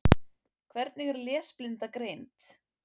Hvernig er lesblinda greind?